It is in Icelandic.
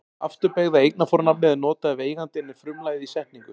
Afturbeygða eignarfornafnið er notað ef eigandinn er frumlagið í setningu.